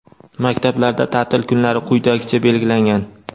maktablarda taʼtil kunlari quyidagicha belgilangan:.